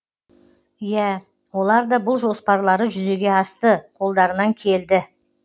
иә оларда бұл жоспарлары жүзеге асты қолдарынан келді